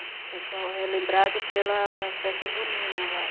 O pessoal é lembrado pela festa junina lá.